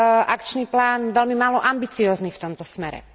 akčný plán veľmi málo ambiciózny v tomto smere.